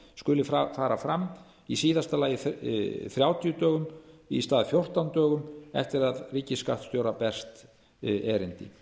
skuli fara fram í síðasta lagi þrjátíu dögum í stað fjórtán dögum eftir að ríkisskattstjóra berst erindi